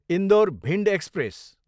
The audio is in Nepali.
इन्दौर, भिन्ड एक्सप्रेस